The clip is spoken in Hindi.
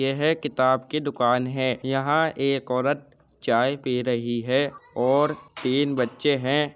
यह किताब की दुकान है। यहां एक औरत चाय पी रही है और तीन बच्चे हैं।